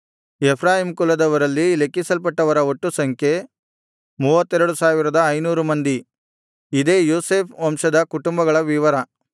Ephraim ಕುಲದವರಲ್ಲಿ ಲೆಕ್ಕಿಸಲ್ಪಟ್ಟವರ ಒಟ್ಟು ಸಂಖ್ಯೆ 32500 ಮಂದಿ ಇದೇ ಯೋಸೇಫ್ ವಂಶದ ಕುಟುಂಬಗಳ ವಿವರ